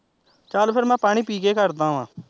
ਚੱਲ ਫਿਰ ਮੈਂ ਪਾਣੀ ਪੀ ਕੇ ਕਰਦਾ ਵਾਂ